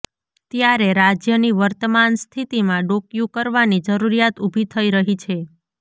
ત્યારે રાજ્યની વર્તમાન સ્થિતિમાં ડોકીયું કરવાની જરૂરિયાત ઊભી થઈ રહી છે